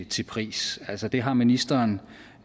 til pris altså det har ministeren